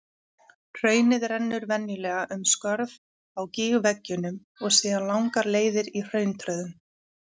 Hraunið rennur venjulega um skörð á gígveggjunum og síðan langar leiðir í hrauntröðum.